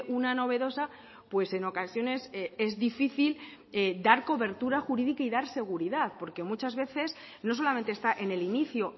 una novedosa pues en ocasiones es difícil dar cobertura jurídica y dar seguridad porque muchas veces no solamente está en el inicio